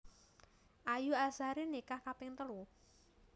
Ayu Azhari nikah kaping telu